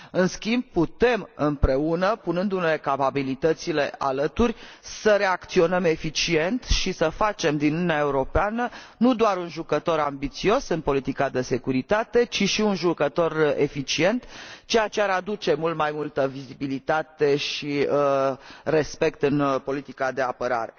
În schimb, putem împreună, punându ne capabilitățile alături, să reacționăm eficient și să facem din Uniunea Europeană nu doar un jucător ambițios în politica de securitate, ci și un jucător eficient, ceea ce ar aduce mult mai multă vizibilitate și respect în politica de apărare.